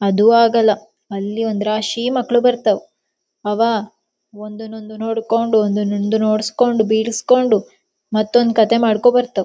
ಅದು ಆಗಲ್ಲಾ ಅಲ್ಲಿ ಒಂದ್ ರಾಶಿ ಮಕ್ಳೂ ಬರತ್ತವ್ ಅವ ಒಂದುನ್ ಒಂದು ನೋಡಕೊಂಡ ಒಂದನ ಒಂದು ಹೊಡ್ಸಕೊಂಡ ಬಿಳಸ್ಕೊಂಡು ಮತ್ತೊಂದು ಕಥೆ ಮಾಡಕೊಂಡ ಬರತವ.